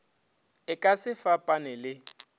e ka se fapane le